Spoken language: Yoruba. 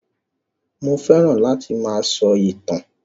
Mo fẹ́ràn láti máa sọ ìtàn